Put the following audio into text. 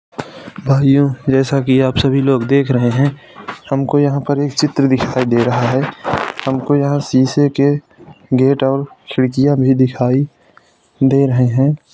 भाइयों जैसा की आप सभी लोग देख रहे है। हमको यहां पर एक चित्र दिखाई दे रहा है। हमको यहां शीशे के गेट और खिड़कियां भी दिखाई दे रहें है।